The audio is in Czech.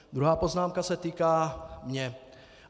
Druhá poznámka se týká mě.